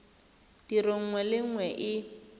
tiro nngwe le nngwe e